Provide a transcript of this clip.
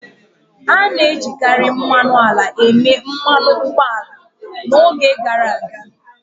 A na-ejikarị mmanụ ala eme mmanụ ụgbọ ala n'oge gara aga.